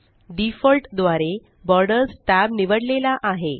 default द्वारे borders tab निवडलेला आहे